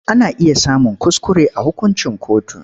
Ana iya samun kuskure a hukuncin kotu.